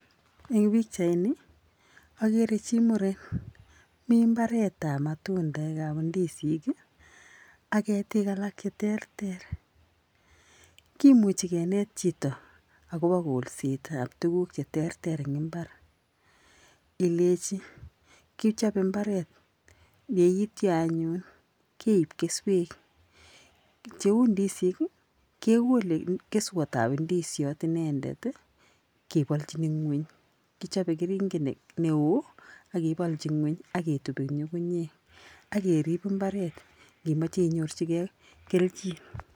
Eng pichaini akere chii muren mi mbaretab matundekab ndisiik ii, ak ketik alak che terter, kimuchi kenet chito ak kobo kolsetab tuguk cheterter eng imbar, ilechi kichobe mbaret yeityo anyun keib keswek, cheu ndisiik ii, kekole keswetab ndisiot inendet ii kebolchin nguny, kichobe keringet ne oo akebolchi nguny ak ketup eng nyungunyek akerip mbaret ngimoche inyorchikei keljin.